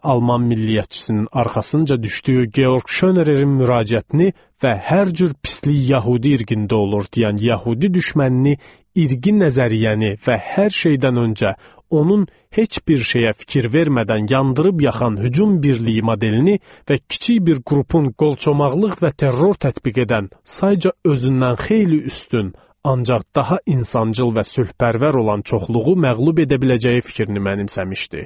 Alman milliyyətçisinin arxasınca düşdüyü Georg Şonererin müraciətini və hər cür pislik yəhudi irqində olur deyən yəhudi düşmənini, irqi nəzəriyyəni və hər şeydən öncə onun heç bir şeyə fikir vermədən yandırıb yakan hücum birliyi modelini və kiçik bir qrupun qolçomaqlıq və terror tətbiq edən, sadəcə özündən xeyli üstün, ancaq daha insancıl və sülhpərvər olan çoxluğu məğlub edə biləcəyi fikrini mənimsəmişdi.